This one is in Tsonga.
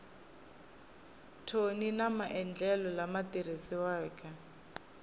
thoni na maendlelo lama tirhisiwaka